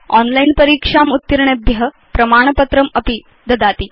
online परीक्षाम् उत्तीर्णेभ्य प्रमाणपत्रमपि ददाति